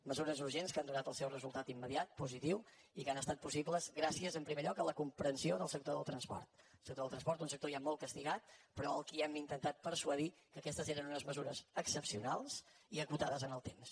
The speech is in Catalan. mesures urgents que han donat el seu resultat immediat positiu i que han estat possibles gràcies en primer lloc a la comprensió del sector del transport el sector del transport un sector ja molt castigat però al qual hem intentat persuadir que aquestes eren unes mesures excepcionals i acotades en el temps